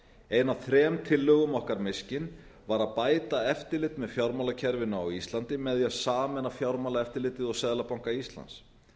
ein af þrem tillögum okkar mishkin var að bæta eftirlit með fjármálakerfinu á íslandi með því að sameina fjármálaeftirlitið og seðlabanka íslands